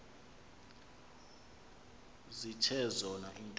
zithe zona iintombi